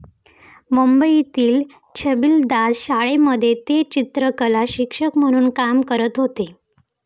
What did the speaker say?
मुंबईतील छबिलदास शाळेमध्ये ते चित्रकलाशिक्षक म्हणून काम करत होते.